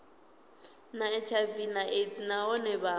na hiv aids nahone vha